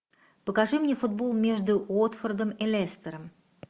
покажи мне футбол между уотфордом и лестером